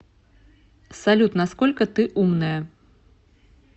салют на сколько ты умная